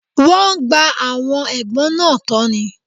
Wọ́n gba àwọn ẹ̀gbọ́n náà tọ́ ni.